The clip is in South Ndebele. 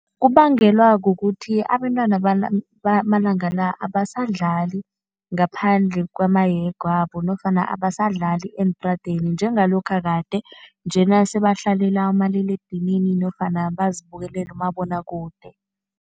Kubangelwa kukuthi abentwana bamalanga la abasadlali ngaphandle kwamahege wabo nofana abasadlali eentradeni njengalokha kade. Njena sebahlalela umaliledinini nofana bazibukelele umabonwakude.